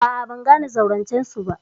A'a, ban gane zaurancen su ba.